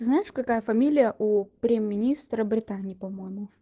ты знаешь какая фамилия у прём министра британии по моему